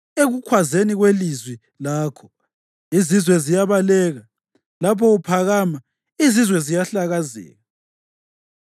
Ekukhwazeni kwelizwi lakho, izizwe ziyabaleka; lapho uphakama izizwe ziyahlakazeka.